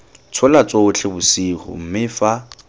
tshola totšhe bosigo mme fa